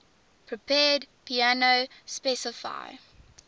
prepared piano specify